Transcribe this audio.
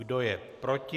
Kdo je proti?